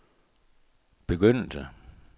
begyndelse